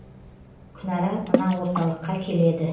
күнара мына орталыққа келеді